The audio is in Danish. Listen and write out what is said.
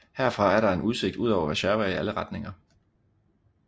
Herfra er der en udsigt ud over Warszawa i alle retninger